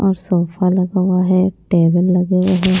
और सोफा लगा हुआ है टेबल लगे हुए है।